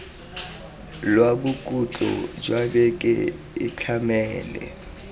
lwa bokhutlo jwa beke itlhamele